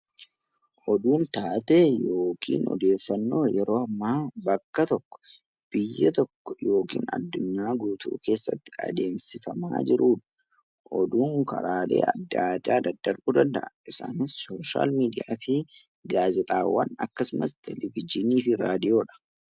Oduun taatee yookaan odeeffannoo yeroo ammaa bakka tokko biyya tokko yookiin addunyaa guutuu keessatti adeemsifamaa jirudha. Oduun karaalee adda addaa daddarbuu danda'a. Isaanis sooshaal miidiyaa fi gaazexaawwan akkasumas televezyiinii fi raadiyoodha